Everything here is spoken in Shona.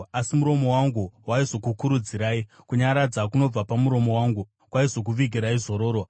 Asi muromo wangu waizokukurudzirai: kunyaradza kunobva pamuromo wangu kwaizokuvigirai zororo.